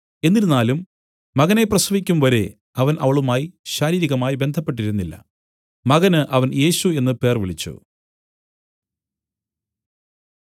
എന്നിരുന്നാലും മകനെ പ്രസവിക്കുംവരെ അവൻ അവളുമായി ശാരീരികമായി ബന്ധപ്പെട്ടിരുന്നില്ല മകന് അവൻ യേശു എന്നു പേർവിളിച്ചു